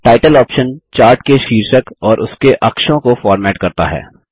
title option chart के शीर्षक और उसके अक्षों को फ़ॉर्मेट करता है